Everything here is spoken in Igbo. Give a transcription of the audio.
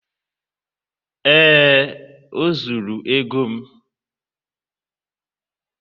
ee, o zuru ego m.